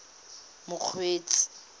mokgweetsi